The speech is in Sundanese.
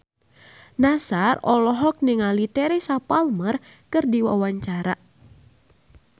Nassar olohok ningali Teresa Palmer keur diwawancara